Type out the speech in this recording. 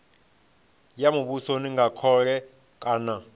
ya muvhuso nga khole kana